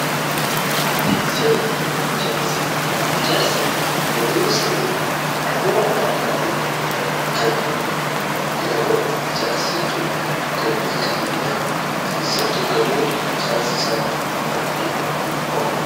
Arkiteekcharrii fi ijaarsi manneenis ta'e gamootti addaateef kan jedhaman ijaarsa jechuun kan beekamaniidha. keessattuu gamoo ijaarsisaa baay'ee waan qaba.